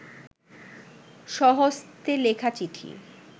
স্বহস্তে লেখা চিঠি